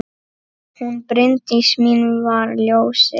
Hún Bryndís mín var ljósið.